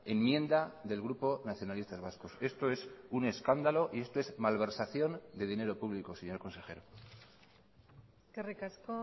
enmienda del grupo nacionalistas vascos esto es un escándalo y esto es malversación de dinero público señor consejero eskerrik asko